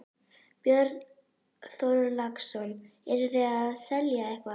Björn Þorláksson: Eruð þið að selja eitthvað?